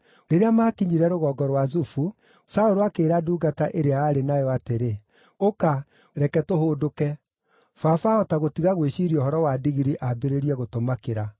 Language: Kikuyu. Rĩrĩa maakinyire rũgongo rwa Zufu, Saũlũ akĩĩra ndungata ĩrĩa aarĩ nayo atĩrĩ, “Ũka, reke tũhũndũke; baba ahota gũtiga gwĩciiria ũhoro wa ndigiri ambĩrĩrie gũtũmakĩra.”